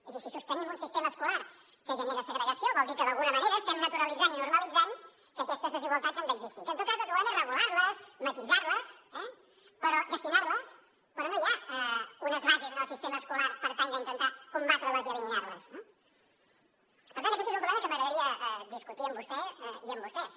és a dir si sostenim un sistema escolar que genera segregació vol dir que d’alguna manera estem naturalitzant i normalitzant que aquestes desigualtats han d’existir que en tot cas el que volem és regular les matisar les eh gestionar les però no hi ha unes bases en el sistema escolar per tal d’intentar combatre les i eliminar les no per tant aquest és un problema que m’agradaria discutir amb vostè i amb vostès